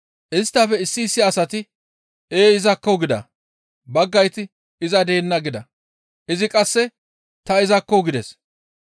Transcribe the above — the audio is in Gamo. Isttafe issi issi asati, «Ee izakko» gida. Baggayti, «Iza deenna» gida. Izi qasse, «Ta izakko» gides.